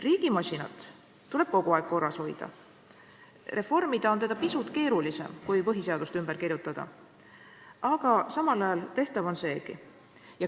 Riigimasinat tuleb kogu aeg korras hoida, reformida on teda pisut keerulisem kui põhiseadust ümber kirjutada, aga tehtav on seegi.